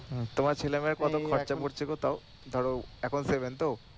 হম তোমার ছেলে-মেয়ের কত খরচা পরছে গো তাও ধরো এখন তো